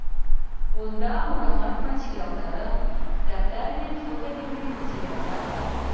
онда мұрағат материалдары кітаптар мен фото бейнематериалдар бар